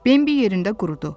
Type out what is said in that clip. Bembi yerində qurudu.